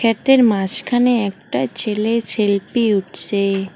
ক্ষেতের মাসখানে একটা ছেলে সেলফি উঠছে।